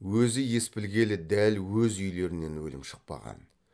өзі ес білгелі дәл өз үйлерінен өлім шықпаған